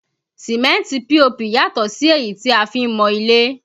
Sìmẹ́ntì POP yàtọ̀ sí èyí tí a fi ń mọ ilé